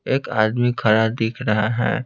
एक आदमी खड़ा दिख रहा है।